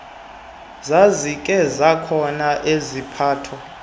zazikhe zakhona iziphatho